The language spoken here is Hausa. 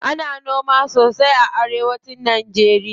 Ana noma sosai a arewa cin najeriya.